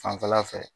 Fanfɛla fɛ